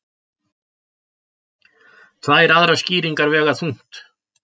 Tvær aðrar skýringar vega þungt